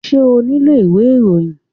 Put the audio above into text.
Ṣé o nílò ìwé ìròyìn?